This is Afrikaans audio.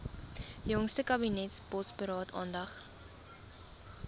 jongste kabinetsbosberaad aandag